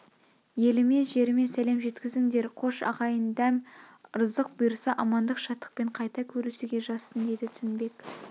елме жерме сәлем жеткізіңдер қош ағайын дәм ырзық бұйырса амандық шаттықпен қайта көрсуге жазсын деді тінбек